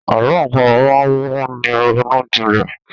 Àlọ àpamọ̀ máa ń mú ni ronú jinlẹ̀.